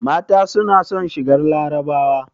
Mata suna son shigar larabawa